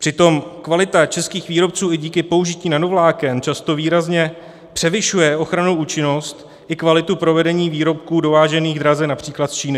Přitom kvalita českých výrobců i díky použití nanovláken často výrazně převyšuje ochrannou účinnost i kvalitu provedení výrobků dovážených draze například z Číny.